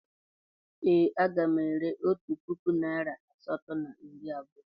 Ee, a ga m ere na otu puku naịra asatọ na iri abụọ.